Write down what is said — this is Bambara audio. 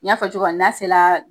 N y'a fɔ cogo min na n'a sela